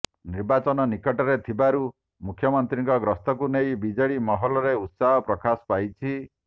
ନିର୍ବାଚନ ନିକଟରେ ଥିବାରୁ ମୁଖ୍ୟମନ୍ତ୍ରୀଙ୍କ ଗସ୍ତକୁ ନେଇ ବିଜେଡି ମହଲରେ ଉତ୍ସାହ ପ୍ରକାଶ ପାଇଛି